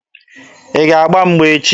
Ị ga-agba mgba echi!